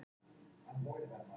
Gleðileg jól, Stína mín.